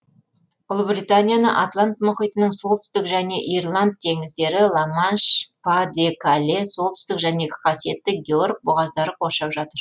ұлыбританияны атлант мұхитының солтүстік және ирланд теңіздері ла манш па де кале солтүстік және қасиетті георг бұғаздары қоршап жатыр